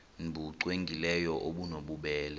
nbu cwengileyo obunobubele